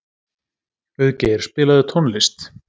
Auðgeir, spilaðu tónlist.